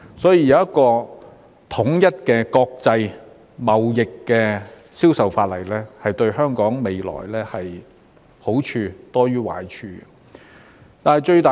所以，有一項統一的國際貿易銷售法例，對於香港未來便是好處多於壞處的。